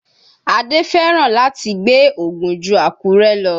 Adé fẹ́ràn láti gbé Ògùn ju Àkúrẹ́ lọ